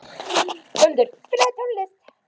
Völundur, spilaðu tónlist.